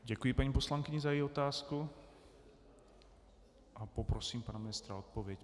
Děkuji paní poslankyni za její otázky a poprosím pana ministra o odpověď.